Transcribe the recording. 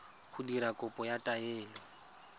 go dira kopo ya taelo